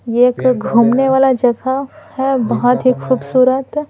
ये एक घूमने वाला जगह है बहुत ही खूबसूरत--